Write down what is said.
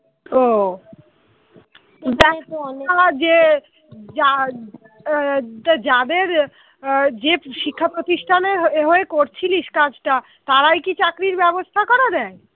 যে শিক্ষাপ্রতিষ্ঠানের হয়ে করছিলিস কাজটা তারাই কি চাকরির ব্যবস্থা করে দেয়?